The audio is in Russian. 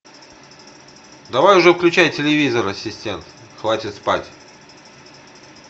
давай уже включай телевизор ассистент хватит спать